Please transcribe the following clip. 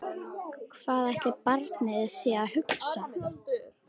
Hvað ætli barnið sé að hugsa?